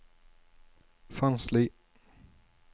Sandsli